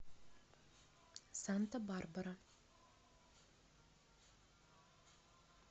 санта барбара